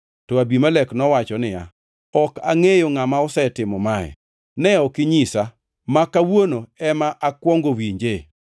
To Abimelek nowacho niya, “Ok angʼeyo ngʼama osetimo mae. Ne ok inyisa, ma kawuono ema akwongo winje.”